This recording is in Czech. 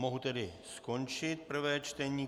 Mohu tedy skončit prvé čtení.